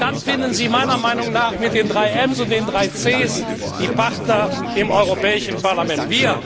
Dann finden Sie meiner Meinung nach mit den drei Ms und den drei Cs die Partner im Europäischen Parlament.